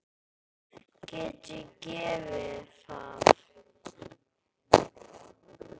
Get ég gefið það?